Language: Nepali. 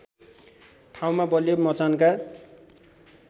ठाउँमा बलियो मचानका